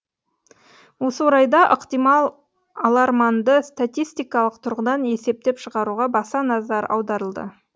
осы орайда ықтимал аларманды статистикалық тұрғыдан есептеп шығаруға баса назар аударылды